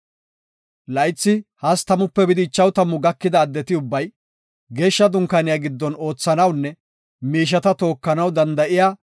Laythi 30-50 gakida addeti ubbay, Geeshsha Dunkaaniya giddon oothanawnune miisheta tookanaw danda7iya,